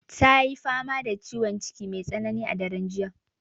Ta yi fama da ciwon ciki mai tsanani a daren jiya.